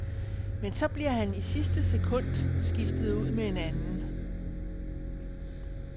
Men så bliver han i sidste sekund skiftet ud med en anden.